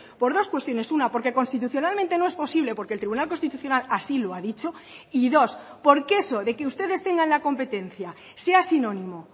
por dos cuestiones una porque constitucionalmente no es posible porque el tribunal constitucional así lo ha dicho y dos porque eso de que ustedes tengan la competencia sea sinónimo